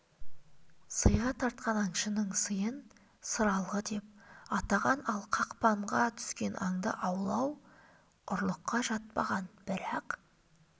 сыйға тартқан аңшының сыйын сыралғы деп атаған ал қақпанға түскен аңды алу ұрлыққа жатпаған бірақ